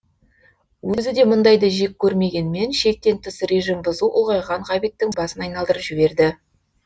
өзі де мұндайды жек көрмегенмен шектен тыс режим бұзу ұлғайған ғабиттің басын айналдырып жіберді